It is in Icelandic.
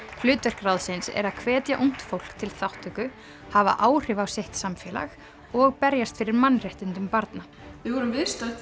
hlutverk ráðsins er að hvetja ungt fólk til þátttöku hafa áhrif á sitt samfélag og berjast fyrir mannréttindum barna við vorum viðstödd